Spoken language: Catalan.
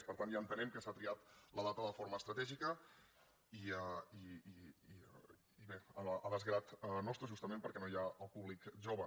per tant ja entenem que s’ha triat la data de forma estratègica i bé a desgrat nostre justament perquè no hi ha el públic jove